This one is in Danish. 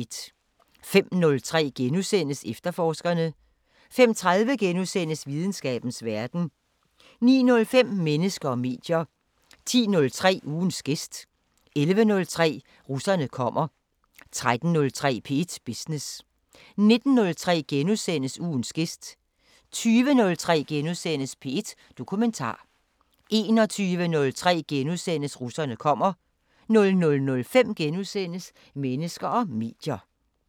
05:03: Efterforskerne * 05:30: Videnskabens Verden * 09:05: Mennesker og medier 10:03: Ugens gæst 11:03: Russerne kommer 13:03: P1 Business 19:03: Ugens gæst * 20:03: P1 Dokumentar * 21:03: Russerne kommer * 00:05: Mennesker og medier *